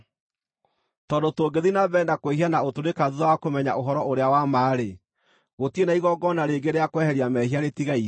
Tondũ tũngĩthiĩ na mbere na kwĩhia na ũtũrĩka thuutha wa kũmenya ũhoro-ũrĩa-wa-ma-rĩ, gũtirĩ na igongona rĩngĩ rĩa kweheria mehia rĩtigaire,